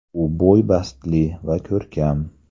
U bo‘y-bastli va ko‘rkam.